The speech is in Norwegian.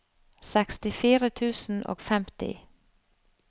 sekstifire tusen og femti